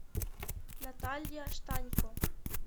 наталья штанько